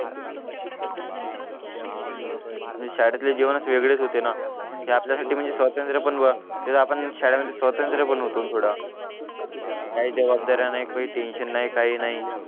मी शाळेतले जीवनच वेगळेच होते ना ते आपल्यासाठी म्हणजे स्वातंत्र्य पण ते आपण शाळेमध्ये स्वातंत्र्य पण होत थोडं काही जवाबदाऱ्या नाहीत काही टेन्शन नाही काही नाही